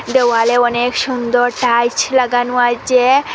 দেওয়াল অনেক সুন্দর টাইলছ লাগানো আছে।